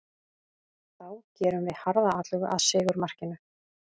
Þá gerðum við harða atlögu að sigurmarkinu.